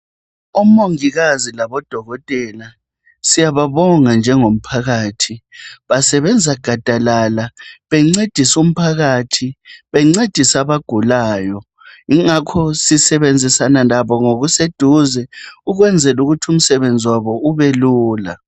Omongikazi labo dokotela syababonga njengomphakathi basebenza gadalala bencedisa umphakathi bencedisa abagulayo yingakho sisebenzisana labo ngokuseduze ukwenzela ukuthi umsebenzi wabo ube lula .